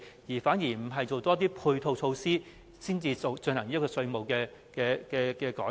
還是應該先多做配套措施，再實施新稅務安排？